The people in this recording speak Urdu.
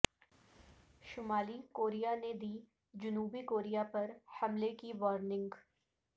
شمالی کوریا نے دی جنوبی کوریا پر حملے کی وارننگ